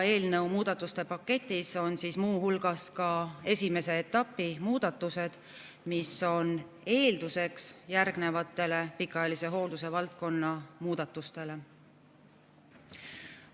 Eelnõu muudatuste paketis on muu hulgas esimese etapi muudatused, mis on eelduseks järgnevatele pikaajalise hoolduse valdkonna muudatustele.